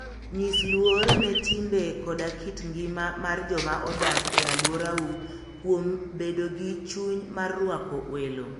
Nyis luor ne timbe koda kit ngima mar joma odak e alworau kuom bedo gi chuny mar rwako welo.